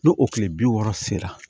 N'o o kile bi wɔɔrɔ sera